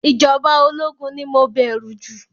Ìjọba ológun ni mo bẹ̀rù jù